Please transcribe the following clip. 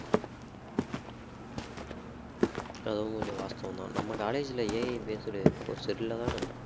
அதுவும் கொஞ்சம் வாஸ்தவம்தான் நம்ம college ல AI based course இல்லதான